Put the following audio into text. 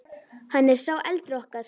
Hann er sá eldri okkar.